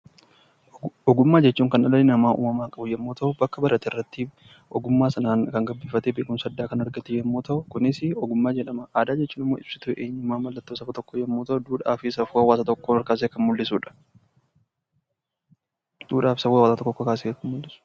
Ogummaa jechuun kan dhalli namaa uumamaan qabu yommu ta'u, bakka barate irratti ogummaa sanaan kan gabbifatee beekumsa addaa kan argatu yommuu ta'u, kunis 'Ogummaa' jedhama. Aadaa jechuun immoo ibsituu eenyummaa, mallattoo saba tokkoo yommuu ta'u, duudhaa fi safuu hawaasa tokkoo ol kaasee kan mul'isu dha.